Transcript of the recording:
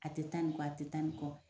A tɛ taa nin kɔ, a tɛ taa nin kɔ,